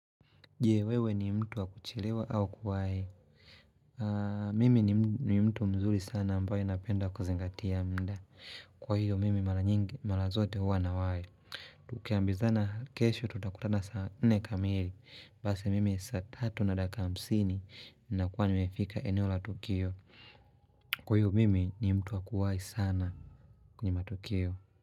Jewewe ni mtu wakujielewa au kuwai. Mimi ni mtu mzuri sana ambayo napenda kuzingatia mda. Kwa hiyo mimi marazote huwa na wae. Tukiambiza na kesho tutakutana sa nne kamili. Basi mimi sa tatu na dakika hamsini na kuwa niwefika eneo la Tukio. Kwa hiyo mimi ni mtu wakuwai sana kunyima Tukio.